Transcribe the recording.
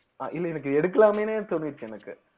அஹ் இல்லை எனக்கு எடுக்கலாமேன்னே தோணுச்சு எனக்கு